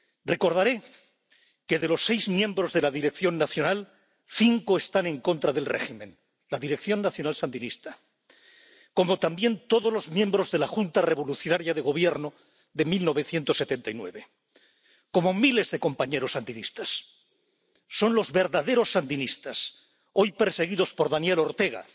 Recordaré que, de los seis miembros de la Dirección Nacional, cinco están en contra del régimen —la Dirección Nacional sandinista—, como también todos los miembros de la Junta Revolucionaria de Gobierno de 1979, como miles de compañeros sandinistas. Son los verdaderos sandinistas, hoy perseguidos por Daniel Ortega